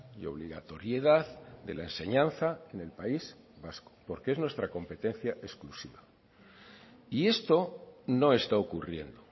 y obligatoriedad de la enseñanza en el país vasco porque es nuestra competencia exclusiva y esto no está ocurriendo